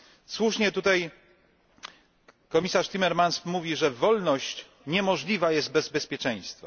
Słusznie tutaj komisarz Timmermans mówi, że wolność niemożliwa jest bez bezpieczeństwa.